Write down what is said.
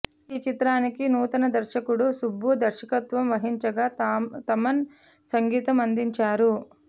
ఇక ఈ చిత్రానికి నూతన దర్శకుడు సుబ్బు దర్శకత్వం వహించగా థమన్ సంగీతం అందించారు